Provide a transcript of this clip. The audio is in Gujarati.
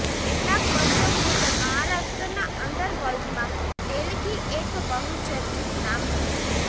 કેટલાક વર્ષો પૂર્વે મહારાષ્ટ્રના અંડરવર્લ્ડમાં તેલગી એક બહુર્ચિચત નામ હતું